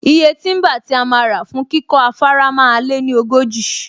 Iye tíḿbà tí a máa rà fún kíkọ́ afárá máa lé ní ogójì